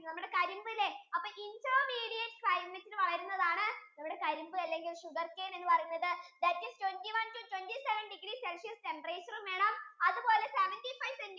നമ്മുടെ കരിമ്പ് അല്ലെ അപ്പൊ intermediate climate യിൽ വളരുന്നതാണ് നമ്മുടെ കരിമ്പ് അല്ലെങ്കിൽ sugarcane എന്ന് പറയുന്നത് that is twenty one to twenty seven degree celcius temperature ഉം വേണം അതുപോലെ seventy five centimeter